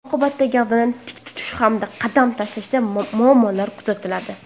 Oqibatda gavdani tik tutish hamda qadam tashlashda muammolar kuzatiladi.